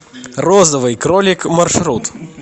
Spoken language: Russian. розовый кролик маршрут